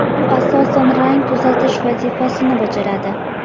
U asosan rang tuzatish vazifasini bajaradi.